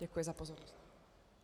Děkuji za pozornost.